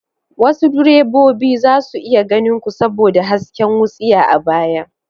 Wasu direbobi za su iya ganin ku saboda hasken wutsiya a baya.